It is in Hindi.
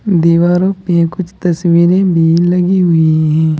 दीवारों पर कुछ तस्वीरे भी लगी हुई है।